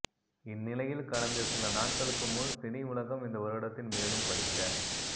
இந்நிலையில் கடந்த சில நாட்களுக்கு முன் சினிஉலகம் இந்த வருடத்தின் மேலும் படிக்க